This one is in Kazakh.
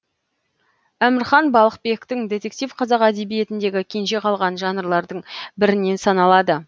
әмірхан балқыбектің детектив қазақ әдебиетіндегі кенже қалған жанрлардың бірінен саналады